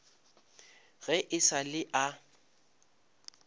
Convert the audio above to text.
ge e sa le a